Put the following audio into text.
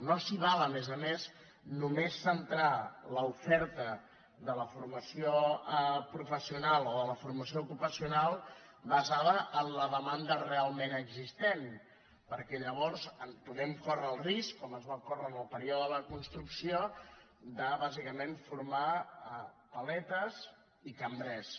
no s’hi val a més a més a només centrar l’oferta de la formació professional o de la formació ocupacional basada en la demanda realment existent perquè llavors podem córrer el risc com es va córrer en el període de la construcció de bàsicament formar paletes i cambrers